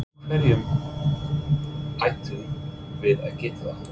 Af hverju ættum við að geta það?